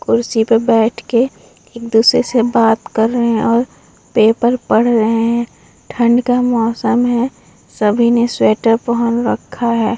कुर्सी पे बैठ के एक दूसरे से बता कर रहें हैं और पेपर पढ़ रहें हैं ठंड का मौसम है सभी ने स्वेटर पहन रखा है।